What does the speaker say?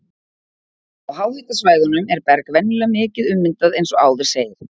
Á háhitasvæðunum er berg venjulega mikið ummyndað eins og áður segir.